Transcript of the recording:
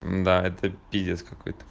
да это пиздец какой то